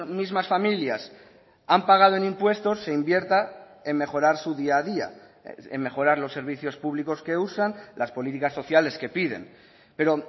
mismas familias han pagado en impuestos se invierta en mejorar su día a día en mejorar los servicios públicos que usan las políticas sociales que piden pero